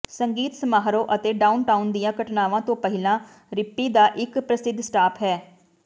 ਸੰਗੀਤ ਸਮਾਰੋਹ ਅਤੇ ਡਾਊਨਟਾਊਨ ਦੀਆਂ ਘਟਨਾਵਾਂ ਤੋਂ ਪਹਿਲਾਂ ਰਿੱਪਪੀ ਦਾ ਇੱਕ ਪ੍ਰਸਿੱਧ ਸਟਾਪ ਹੈ